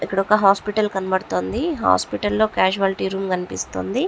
ఇక్కడ ఒక హాస్పిటల్ కనబడుతుంది హాస్పిటల్ లో కాజువల్టి రూమ్ కనిపిస్తుంది.